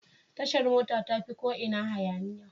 Tashar mota tafi ko ina hayaniya.